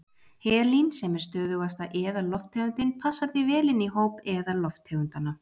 Helín, sem er stöðugasta eðallofttegundin, passar því vel inn í hóp eðallofttegundanna.